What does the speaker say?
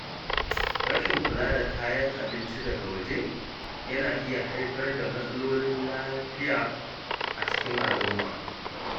Rashin kula da kayan abinci daga waje yana iya haifar da matsalolin lafiya a cikin al’umma.